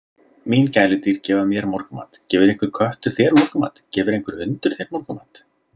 Mín gæludýr gefa mér morgunmat, gefur einhver köttur þér morgunmat, gefur einhver hundur þér morgunmat?